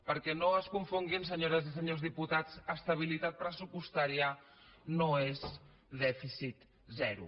perquè no es confonguin senyores i senyors diputats estabilitat pressupostària no és dèficit zero